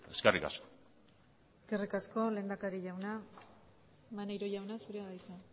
eskerrik asko eskerrik asko lehendakari jauna maneiro jauna zurea da hitza